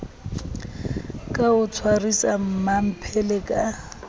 ka o tshwarisa mmamphele ka